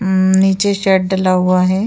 उम्म नीचे शेड डला हुआ है।